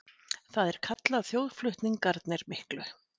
Það er kallað þjóðflutningarnir miklu.